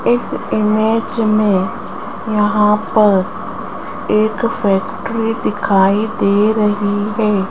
इस इमेज में यहां पर एक फैक्ट्री दिखाई दे रही है।